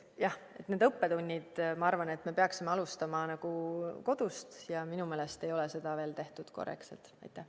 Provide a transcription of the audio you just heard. Jah, need õppetunnid – ma arvan, et me peaksime alustama kodust ja minu meelest ei ole seda veel korrektselt tehtud.